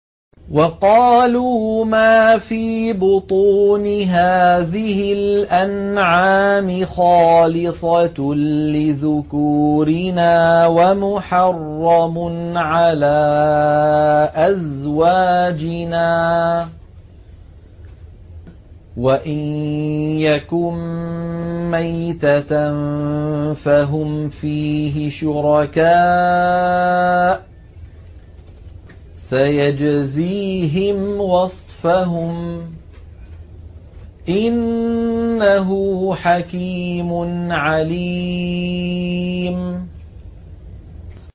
وَقَالُوا مَا فِي بُطُونِ هَٰذِهِ الْأَنْعَامِ خَالِصَةٌ لِّذُكُورِنَا وَمُحَرَّمٌ عَلَىٰ أَزْوَاجِنَا ۖ وَإِن يَكُن مَّيْتَةً فَهُمْ فِيهِ شُرَكَاءُ ۚ سَيَجْزِيهِمْ وَصْفَهُمْ ۚ إِنَّهُ حَكِيمٌ عَلِيمٌ